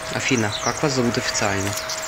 афина как вас зовут официально